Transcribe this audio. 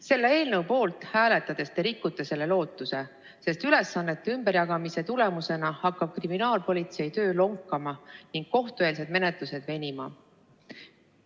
Selle eelnõu poolt hääletades te rikute selle lootuse, sest ülesannete ümberjagamise tulemusena hakkab kriminaalpolitsei töö lonkama ning kohtueelsed menetlused hakkavad venima.